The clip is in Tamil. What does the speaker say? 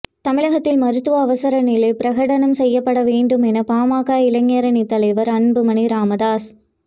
தமிழகத்தில் மருத்துவ அவசர நிலை பிரகடனம் செய்யப்பட வேண்டும் என பாமக இளைஞரணித் தலைவர் அன்புமணி ராமதாஸ்